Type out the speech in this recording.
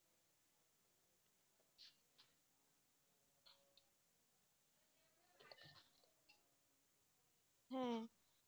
হ্যাঁ,